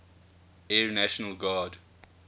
air national guard